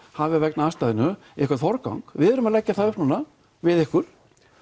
hafi vegna aðstæðna einhvern forgang við erum að leggja það upp núna við ykkur